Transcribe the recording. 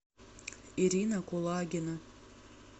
ирина кулагина